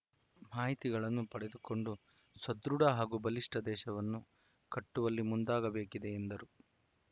ಮಾಹಿತಿಗಳನ್ನು ಪಡೆದುಕೊಂಡು ಸದೃಢ ಹಾಗೂ ಬಲಿಷ್ಠ ದೇಶವನ್ನು ಕಟ್ಟುವಲ್ಲಿ ಮುಂದಾಗಬೇಕಿದೆ ಎಂದರು